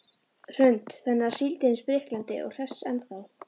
Hrund: Þannig að síldin er spriklandi og hress ennþá?